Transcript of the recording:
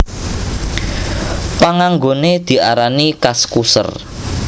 Panganggoné diarani Kaskuser